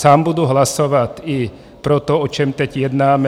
Sám budu hlasovat i pro to, o čem teď jednáme.